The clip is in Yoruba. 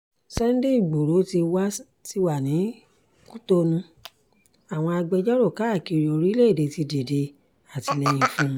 sunday igboro sì wà ní cotonou àwọn agbẹjọ́rò káàkiri orílẹ̀‐èdè ti dìde àtìlẹyìn fún un